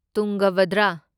ꯇꯨꯡꯒꯥꯚꯗ꯭ꯔ